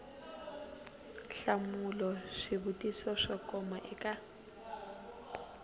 hlamula swivutiso swo koma eka